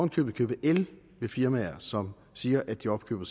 i købet købe el ved firmaer som siger at de opkøber